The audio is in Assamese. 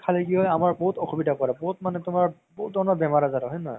খালে কি হয় আমাৰ বহুত অসুবিধা কৰে বহুত মানে তুমাৰ বহু ধৰণৰ বেমাৰ আজাৰ হয়, হয় নে নহয়